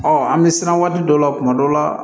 an bɛ siran waati dɔ la kuma dɔ la